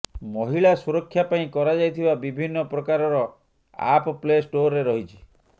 ମହିଳା ସୁରକ୍ଷା ପାଇଁ କରାଯାଇଥିବା ବିଭିନ୍ନ ପ୍ରକାରର ଆପ୍ ପ୍ଲେ ଷ୍ଟୋରରେ ରହିଛି